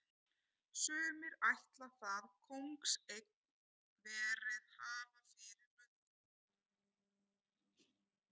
Sumir ætla það kóngseign verið hafa fyrir löngu.